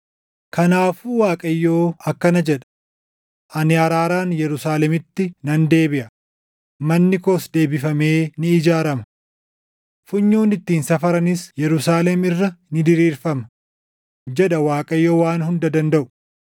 “Kanaafuu Waaqayyo akkana jedha: ‘Ani araaraan Yerusaalemitti nan deebiʼa; manni koos deebifamee ni ijaarama. Funyoon ittiin safaranis Yerusaalem irra ni diriirfama’ jedha Waaqayyo Waan Hunda Dandaʼu.